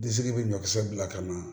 Disi bɛ ɲɔkisɛ bila ka na